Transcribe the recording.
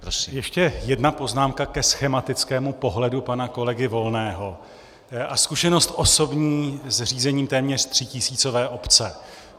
Ještě jedna poznámka ke schematickému pohledu pana kolegy Volného a zkušenost osobní z řízení téměř třítisícové obce.